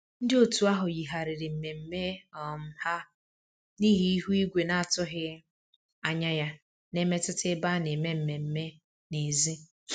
Ndị otu ahụ yigharịrị mmemme um ha n'ihi ihu igwe na-atụghị um anya ya na-emetụta ebe a na-eme mmemme n'èzí